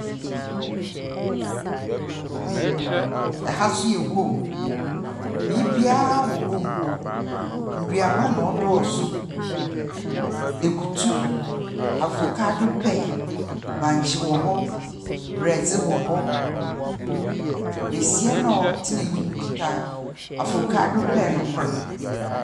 Ɛha nso yɛ guam. Biabaa wɔ guam hɔ, nnuaba na ɛdɔɔso. Akutu, avakado pɛɛ, bankye wɔ hɔ, brɛɛdze wɔ hɔ. Bɛsia na ɔtena anyim no kita avokado pɛɛ no kor'.